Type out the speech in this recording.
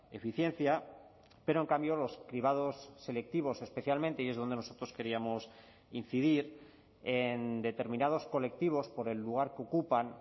eficiencia pero en cambio los cribados selectivos especialmente y es donde nosotros queríamos incidir en determinados colectivos por el lugar que ocupan